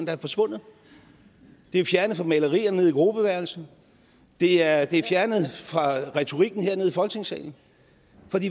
være forsvundet det er fjernet fra malerierne nede i gruppeværelset det er det er fjernet fra retorikken hernede i folketingssalen